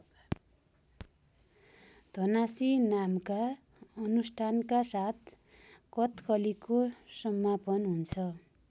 धनाशि नामका अनुष्ठानका साथ कथकलीको समापन हुन्छ।